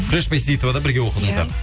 күләш бәйсейітовада бірге оқыдыңыздар